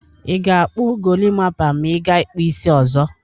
Ị ga-kpụ golimapa ma ị gaa ịkpụ isi ọzọ?